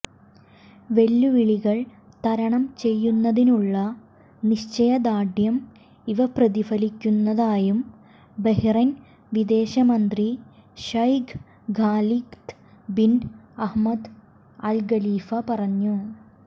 വെല്ലുവിളികൾ തരണം ചെയ്യുന്നതിനുള്ള നിശ്ചയദാർഢ്യം ഇവ പ്രതിഫലിപ്പിക്കുന്നതായും ബഹ്റൈൻ വിദേശ മന്ത്രി Sheikh Khalid bin Ahmed Al Khalifa പറഞ്ഞു